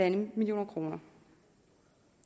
en million kroner